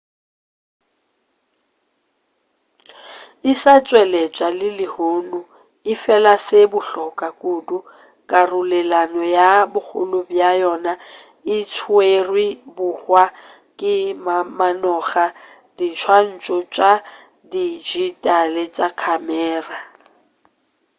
e sa tšweletšwa le lehono efela se se bohlokwa kudu karolelano ya bogolo bja yona e tšerwe bohwa ke mamanoga a diswantšho tša dijitale tša khamera